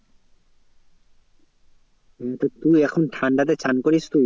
হ্যাঁ তো তুই এখন ঠান্ডাতে স্নান করিস তুই?